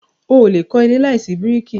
O o lè kọ́ ilé láìsí bíríkì.